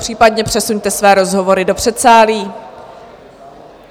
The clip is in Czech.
Případně přesuňte své rozhovory do předsálí...